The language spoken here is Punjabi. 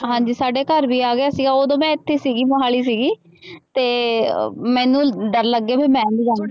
ਹਾਂਜੀ ਸਾਡੇ ਘਰ ਵੀ ਆ ਗਿਆ ਸੀਗਾ ਉਦੋਂ ਮੈਂ ਇੱਥੇ ਸੀਗੀ ਮੁਹਾਲੀ ਸੀਗੀ ਤੇ ਮੈਨੂੰ ਡਰ ਲੱਗੇ ਵੀ ਮੈਂ ਨੀ ਜਾਣਾ